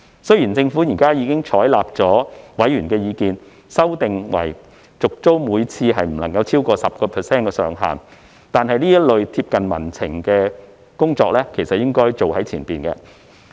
雖然政府現已採納委員的意見，修訂為每次續租不得超過 10% 上限，但這類貼近民情的工作應該一早進行。